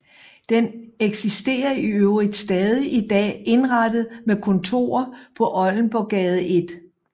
Den eksisterer i øvrigt stadig i dag indrettet med kontorer på Oldenborggade 1